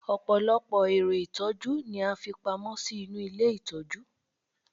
ọpọlọpọ ẹrọ itọju ni a fi pamó sí inú ilé itọju